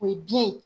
O ye biyɛn ye